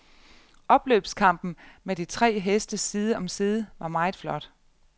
Opløbskampen med de tre heste side om side var meget flot.